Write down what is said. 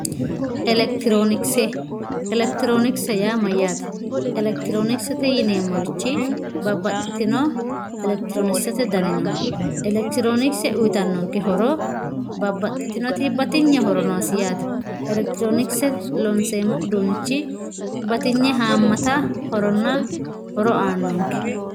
Electronkse electronkse yaa mayate electronksete yimeemo woyite babaxitino electronksete dani no electronkse uyitanoti babaxitinoti batiyne horo noose yaate electironkse horo uyitano yaate.